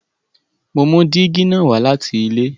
Mo mú dígí na wá láti ilé